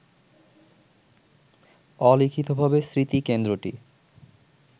অলিখিতভাবে স্মৃতিকেন্দ্রটি